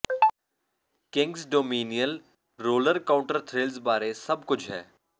Kings Dominion roller coaster thrills ਬਾਰੇ ਸਭ ਕੁਝ ਹੈ